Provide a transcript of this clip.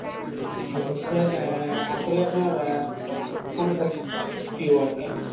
জ্বি হচ্ছে হ্যাঁ আসলে আপনার আহ কোন খেলা সবচেয়ে বেশি প্রিয় আর কি?